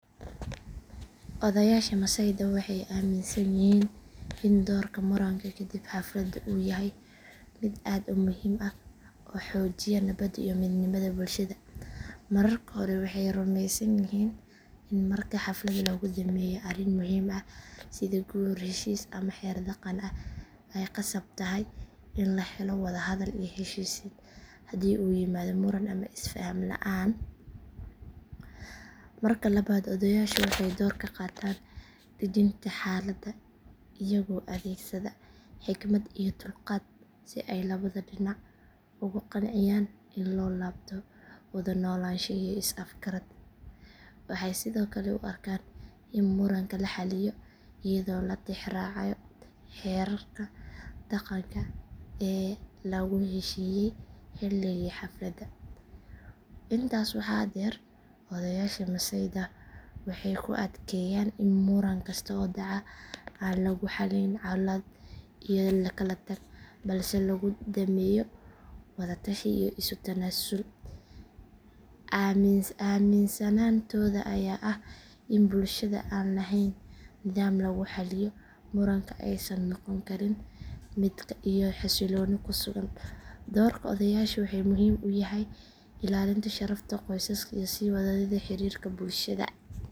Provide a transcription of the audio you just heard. Odayaasha masaayda waxay aaminsan yihiin in doorka moranka kadib xafladda uu yahay mid aad u muhiim ah oo xoojiya nabadda iyo midnimada bulshada. Marka hore waxay rumeysan yihiin in marka xaflad lagu dhammeeyo arrin muhiim ah sida guur, heshiis ama xeer dhaqan ay khasab tahay in la helo wada hadal iyo heshiisiin haddii uu yimaado muran ama is faham la’aan. Marka labaad odayaashu waxay door ka qaataan dejinta xaaladda iyagoo adeegsada xikmad iyo dulqaad si ay labada dhinac ugu qanciyaan in loo laabto wada noolaansho iyo is afgarad. Waxay sidoo kale u arkaan in muranka la xalliyo iyadoo la tixraacayo xeerarka dhaqanka ee lagu heshiiyey xilligii xafladda. Intaas waxaa dheer odayaasha masaayda waxay ku adkeeyaan in muran kasta oo dhaca aan lagu xallin colaado iyo kala tag balse lagu dhameeyo wada tashi iyo isu tanaasul. Aaminsanaantooda ayaa ah in bulsho aan lahayn nidaam lagu xalliyo muranka aysan noqon karin mid nabad iyo xasilooni ku sugan. Doorka odayaashu wuxuu muhiim u yahay ilaalinta sharafta qoysaska iyo sii wadida xiriirka bulshada.